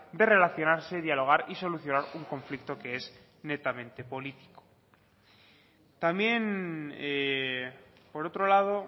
de relacionarse dialogar y solucionar un conflicto que es netamente político también por otro lado